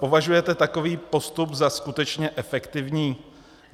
Považujete takový postup za skutečně efektivní?